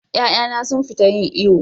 Ƴa'ƴana sun fita yin iyo.